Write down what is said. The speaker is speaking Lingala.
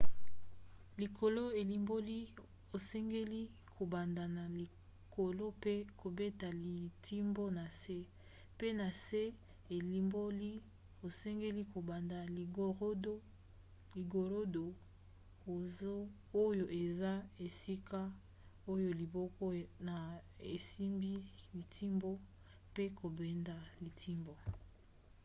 likolo elimboli osengeli kobanda na likolo pe kobeta litimbo na se pe na se elimboli osengeli kobanda ligorodo oyo eza esika oyo liboko na yo esimbi litimbo mpe kobenda litimbo